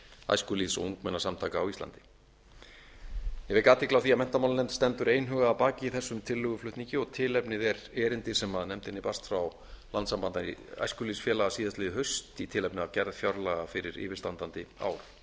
æskulýðs og ungmennasamtaka á íslandi ég vek athygli á því að menntamálanefnd stendur einhuga að baki þessum tillöguflutningi og tilefnið er erindi sem nefndinni barst frá landssambandi æskulýðsfélaga síðastliðið haust í tilefni af gerð fjárlaga fyrir yfirstandandi ár